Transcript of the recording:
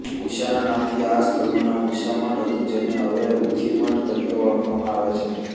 ઉષાના નામથી આ સ્થળનું નામ ઉશામઠ હતું જેને હવે ઊખીમઠ તરીકે ઓળખવામાં આવે છે